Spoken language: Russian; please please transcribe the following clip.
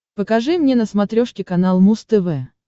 покажи мне на смотрешке канал муз тв